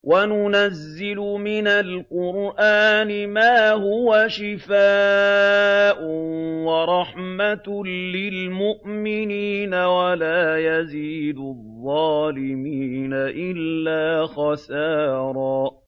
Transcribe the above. وَنُنَزِّلُ مِنَ الْقُرْآنِ مَا هُوَ شِفَاءٌ وَرَحْمَةٌ لِّلْمُؤْمِنِينَ ۙ وَلَا يَزِيدُ الظَّالِمِينَ إِلَّا خَسَارًا